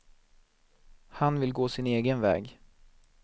Han vill gå sin egen väg.